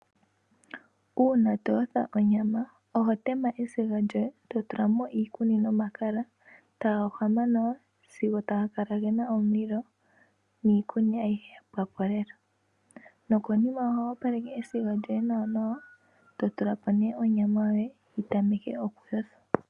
Uuna to yotha onyama, oho tema esiga lyoye to tula mo iikuni nomakala taga hwama nawa sigo taga kala gena omulilo niikuni ayihe ya pwako lela, nokonima oho opaleke esiku lyoye nawa nawa, to tula po onyama yoye yi tameke oku yothwa.